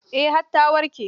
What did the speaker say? Eh, har ta warke.